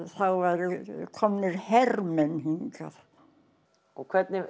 þá voru komnir hermenn hingað hvernig